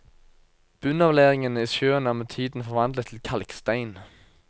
Bunnavleiringene i sjøen er med tiden forvandlet til kalkstein.